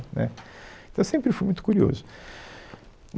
Né, Então, eu sempre fui muito curioso.